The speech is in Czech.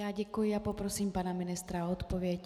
Já děkuji a poprosím pana ministra o odpověď.